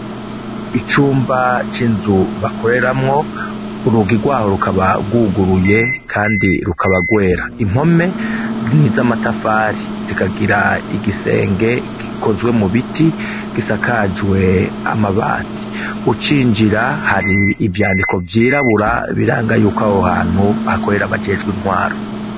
Icumba c'inzu bakoreramwo urug irwaho rukabagwuguruye, kandi rukabagwera impome n'izo amatafari zikagira igisenge gikozwe mu biti gisakajwe amabati ucinjira hari ivyandiko vyirabura biranga yuko awe uhantu hakorera abajejwe intwaro.